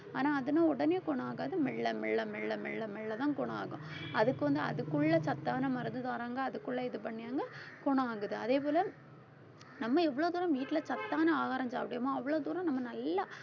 ஆனா அதுன்னா உடனே குணம் ஆகாது. மெல்ல மெல்ல மெல்ல மெல்ல மெல்லதான் குணம் ஆகும். அதுக்கு வந்து அதுக்குள்ள சத்தான மருந்து தாரங்க அதுக்குள்ள இது பண்ணி அங்க குணம் ஆகுது. அதே போல நம்ம இவ்வளவு தூரம் வீட்டுல சத்தான ஆகாரம் சாப்பிடறோமோ அவ்வளவு தூரம் நம்ம நல்லா